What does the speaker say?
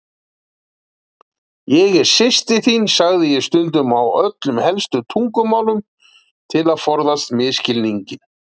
Ég er systir þín, sagði ég stundum á öllum helstu tungumálum, til að forðast misskilning.